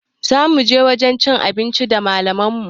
Zamu je wajen cin abinci da malaman mu